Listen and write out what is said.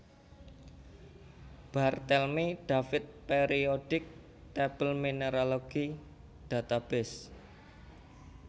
Barthelmy David Periodic table Mineralogy Database